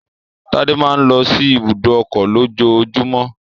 Tádé máa ń lọ sí ibùdó ọkọ̀ lójoojúmọ́